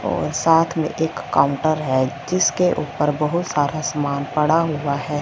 और साथ में एक काउंटर है जिसके ऊपर बहुत सारा सामान पड़ा हुआ है।